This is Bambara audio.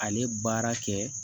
Ale baara kɛ